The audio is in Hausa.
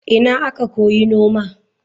Ina aka koyi noma?